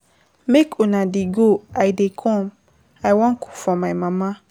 Make una dey go I dey come, I wan cook for my mama.